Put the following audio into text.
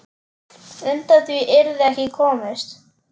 Undan því yrði ekki komist.